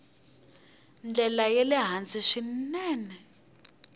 ndlela ya le hansi swinene